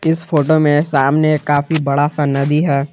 इस फोटो में सामने काफी बड़ा सा नदी है।